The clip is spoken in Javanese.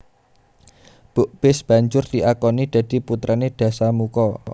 Bukbis banjur diakoni dadi putrané Dasamuka